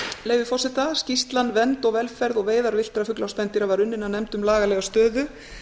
leyfi forseta skýrslan vernd velferð og veiðar villtra fugla og spendýra var unnin af nefnd um lagalega stöðu